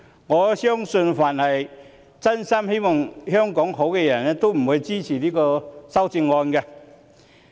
我相信凡是真心希望香港好的人也不會支持這些修正案。